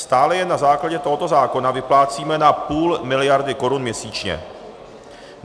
Stále jen na základě tohoto zákona vyplácíme na půl miliardy korun měsíčně.